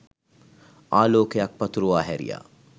ආලෝකයක් පතුරුවා හැරියා